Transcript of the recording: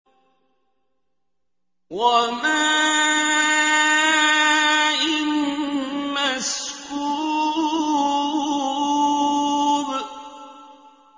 وَمَاءٍ مَّسْكُوبٍ